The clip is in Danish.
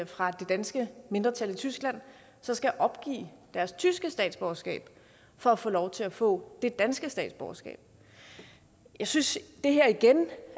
fra det danske mindretal i tyskland skal opgive deres tyske statsborgerskab for at få lov til at få det danske statsborgerskab jeg synes at det her igen